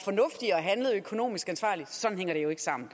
handlede økonomisk ansvarligt sådan hænger det jo ikke sammen